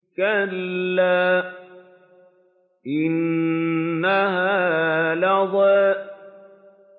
كَلَّا ۖ إِنَّهَا لَظَىٰ